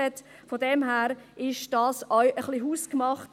Daher ist dies auch ein bisschen hausgemacht.